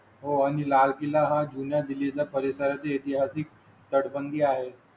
हो आणि लाल किल्ला हा जुन्या दिल्ली च्या परिसरात येते अशी तटबंदी आहे.